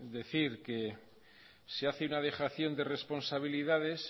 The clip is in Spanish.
decir que se hace una dejación de responsabilidades